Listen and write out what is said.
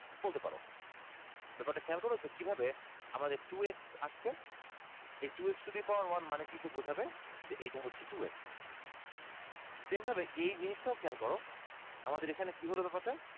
বলতে পারো ব্যাপার টা খেয়াল করেছো কিভাবে আমাদের two x আসছে এই two x to the power মানে কিন্তু বোঝাবে যে এটা হচ্ছে two x same ভাবে এই জিনিস টাও খেয়াল করো আমাদের এইখানে কি হলো ব্যাপার টা